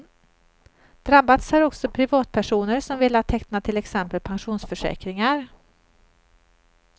Drabbats har också privatpersoner som velat teckna till exempel pensionsförsäkringar.